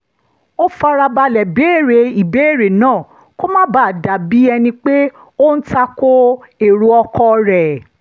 ó fara balẹ̀ béèrè ìbéèrè náà kó má bàa dà bí ẹni pé ó ń ta ko èrò ọkọ rẹ̀